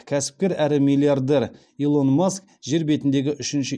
кәсіпкер әрі миллиардер илон маск жер бетіндегі үшінші